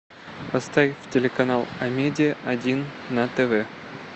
поставь телеканал амедия один на тв